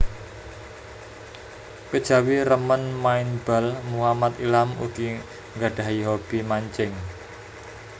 Kejawi remen main bal Muhammad Ilham ugi nggadhahi hobi mancing